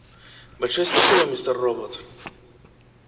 большое спасибо мистер робот